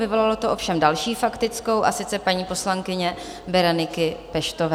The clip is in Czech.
Vyvolalo to ovšem další faktickou, a sice paní poslankyně Bereniky Peštové.